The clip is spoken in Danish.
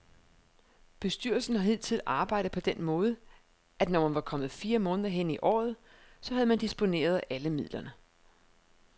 Bestyrelsen har hidtil arbejdet på den måde, at når man var kommet fire måneder hen i året, så havde man disponeret alle midlerne.